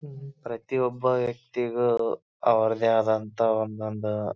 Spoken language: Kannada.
ಪ್ರತಿಯೊಬ್ಬ ವ್ಯಕ್ತಿಗೂ ಅವ್ರದೇ ಆದಂತಹ ಒಂದೊಂದು--